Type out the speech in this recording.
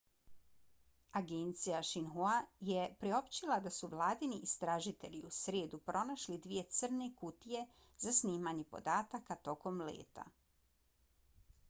agencija xinhua je priopćila da su vladini istražitelji u srijedu pronašli dvije crne kutije za snimanje podataka tokom leta